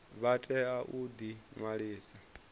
vha tea u ḓi ṅwalisa